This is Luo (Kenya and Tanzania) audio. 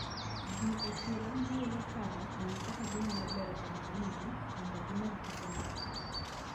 Ji e chiro newilo paro ewi kaka ginyalobero ohendnigi mondo gimed uso margi.